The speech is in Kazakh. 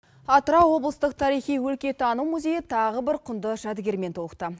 атырау облыстық тарихи өлкетану музейі тағы бір құнды жәдігермен толықты